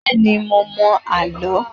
Bẹ́ẹ̀ ni, mo mọ àlọ́.